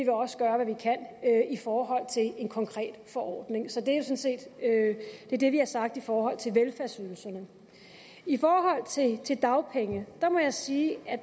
også gøre hvad vi kan i forhold til en konkret forordning sådan set det vi har sagt i forhold til velfærdsydelserne i forhold til dagpenge må jeg sige at